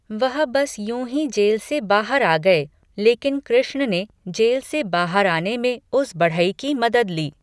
वह बस यूं ही जेल से बाहर आ गए लेकिन कृष्ण ने जेल से बाहर आने में उस बढ़ई की मदद ली।